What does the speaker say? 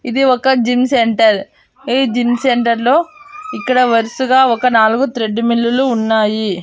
ఇది ఒక gym centre ఈ జిమ్ సెంటర్ లో ఇక్కడ వరుసగా ఒక నాలుగు త్రెడ్ మిల్ లు ఉన్నాయి.